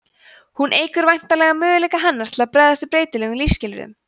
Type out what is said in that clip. hún eykur væntanlega möguleika hennar til að bregðast við breytilegum lífsskilyrðum